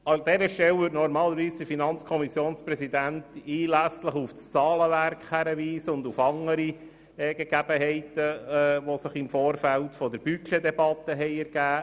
An dieser Stelle weist der Präsident der FiKo normalerweise detailliert auf das Zahlenwerk und auf andere Gegebenheiten hin, die sich im Vorfeld der Budgetdebatte ergeben haben.